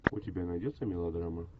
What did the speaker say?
у тебя найдется мелодрама